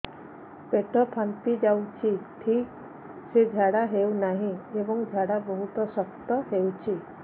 ପେଟ ଫାମ୍ପି ଯାଉଛି ଠିକ ସେ ଝାଡା ହେଉନାହିଁ ଏବଂ ଝାଡା ବହୁତ ଶକ୍ତ ହେଉଛି